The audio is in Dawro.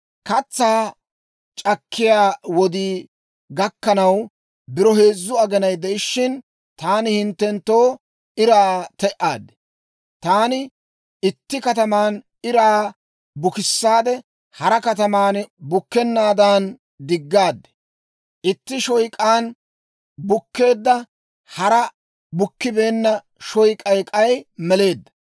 Katsaa c'akkiyaa wodii gakkanaw biro heezzu aginay de'ishshin, taani hinttenttoo iraa te"aad. Taani itti kataman iraa bukissaade hara kataman bukkennaadan diggaad; itti shoyk'aan bukkeedda; hara bukkibeenna shoyk'ay k'ay meleedda.